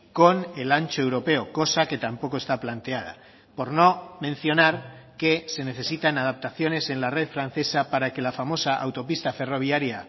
con el ancho europeo cosa que tampoco está planteada por no mencionar que se necesitan adaptaciones en la red francesa para que la famosa autopista ferroviaria